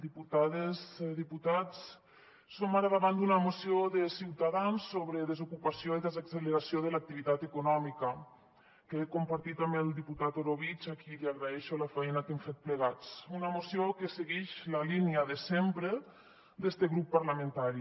diputades diputats som ara davant d’una moció de ciutadans sobre desocupació i desacceleració de l’activitat econòmica que he compartit amb el diputat orobitg a qui agraeixo la feina que hem fet plegats una moció que seguix la línia de sempre d’este grup parlamentari